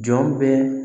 Jɔn bɛ